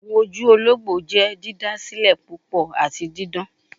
Awọn oju ologbo jẹ didasilẹ pupọ ati didan